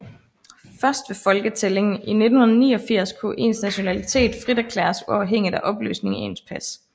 Først ved folketællingen i 1989 kunne ens nationalitet frit erklæres uafhængigt af oplysningen i ens pas